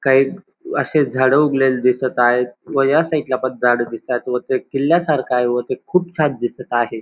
काही अशे झाड उगलेली दिसत आहेत व ह्या साईड ला पण झाड दिसतायत व ते किल्ल्यासारख आहे व ते खूप छान दिसत आहे.